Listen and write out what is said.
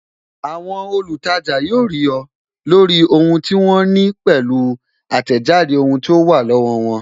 Àwọn olutaja yóò rí ọ, lórí ohun tí wọ́n ní pẹ̀lú atejade ohun tó wà lọ́wọ́ won